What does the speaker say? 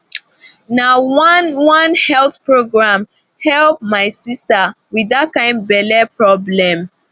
na one one health program help my sister with that kind belly problem